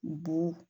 Bon